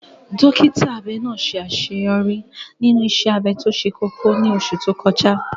Dókítà abẹ náà ṣe àṣeyọrí nínú iṣẹ́ abẹ tó ṣe kókó ní oṣù tó kọjá.